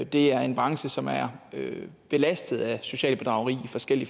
det er en branche som er belastet af socialt bedrageri af forskellig